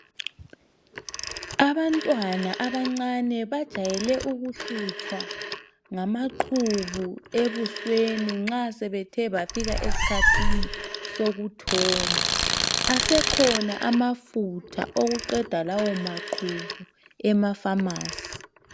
Abantwana abancane bajayele ukuhlutshwa ngamaqhubu ebusweni nxa sebethe bafika eskhathini sokuthomba. Asekhona amafutha okuqeda lawo maqhubu ema pharmacy.